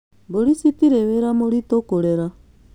Mbũri citirĩ wĩra mũritũ kũrera